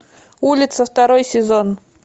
улица второй сезон